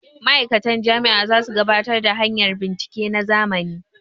ma'aikatan Jami' a za su gabatar da hanyar bincike ta zamani